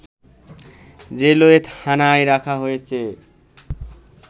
railway থানায় রাখা হয়েছে